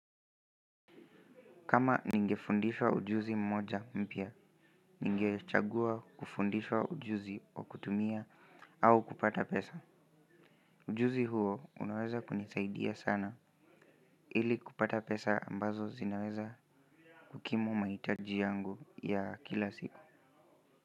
Kama ningefundishwa ujuzi mmoja mpya, ningechagua kufundishwa ujuzi wa kutumia au kupata pesa. Ujuzi huo unaweza kunisaidia sana, ili kupata pesa ambazo zinaweza kukidhimahitaji yangu ya kila siku.